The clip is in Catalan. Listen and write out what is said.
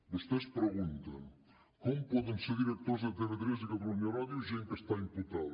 vostès pregunten com poden ser directors de tv3 i catalunya ràdio gent que està imputada